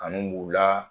Kanu b'u la